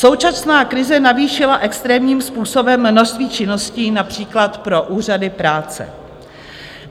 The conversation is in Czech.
Současná krize navýšila extrémním způsobem množství činností, například pro úřady práce.